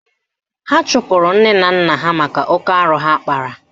Ha chụpụrụ nne na nna ha maka oke arụ ha kpara